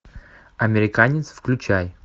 американец включай